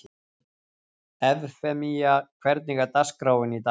Evfemía, hvernig er dagskráin í dag?